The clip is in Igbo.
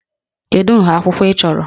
Kedu nha akwụkwọ ị chọrọ?